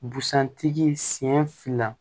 Busan tigi sen fila